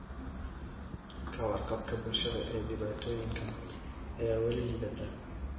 Ka warqabka bulshada ee dhibaatooyinkan ayaa weli liidata.